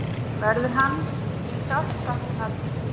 Verður hans því sárt saknað.